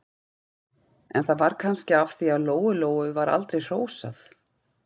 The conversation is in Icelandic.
En það var kannski af því að Lóu-Lóu var aldrei hrósað.